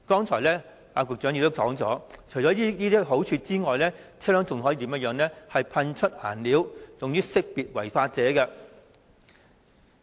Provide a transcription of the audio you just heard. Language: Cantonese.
此外，剛才副局長亦提到，水炮車亦可以噴出顏料，以識別違法者。